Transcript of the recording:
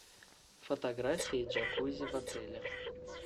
фотографии джакузи в отеле